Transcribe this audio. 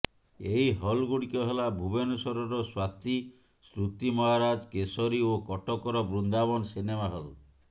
ଏହି ହଲ୍ଗୁଡ଼ିକ ହେଲା ଭୁବନେଶ୍ୱରର ସ୍ୱାତି ସ୍ତୁତି ମହାରାଜ କେଶରୀ ଓ କଟକର ବୃନ୍ଦାବନ ସିନେମାହଲ୍